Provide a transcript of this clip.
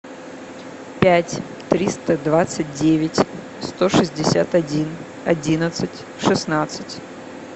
пять триста двадцать девять сто шестьдесят один одиннадцать шестнадцать